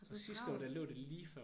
Du er travl